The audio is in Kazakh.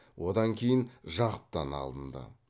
одан кейін жақыптан алынды